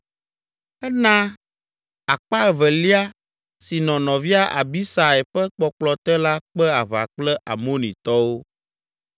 Ena akpa evelia si nɔ nɔvia Abisai ƒe kpɔkplɔ te la kpe aʋa kple Amonitɔwo.